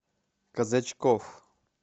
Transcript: казачков